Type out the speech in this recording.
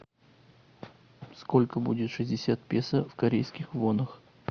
сколько будет шестьдесят песо в корейских вонах